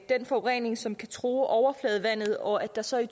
den forurening som kan true overfladevandet og at der så i